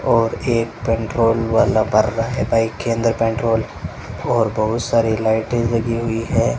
और एक पेट्रोल वाला भर रहा है बाइक के अंदर पेट्रोल और बहुत सारी लाइटें लगी हुई हैं।